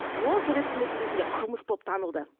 ол совет өкіметінің кезінде қылмыс болып танылды